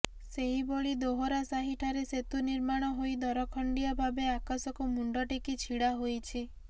ସେହିଭଳି ଦୋହରାସାହି ଠାରେ ସେତୁ ନିର୍ମାଣ ହୋଇ ଦରଖଣ୍ଡିଆ ଭାବେ ଆକାଶକୁ ମୁଣ୍ଡ ଟେକି ଛିଡ଼ା ହୋଇଛି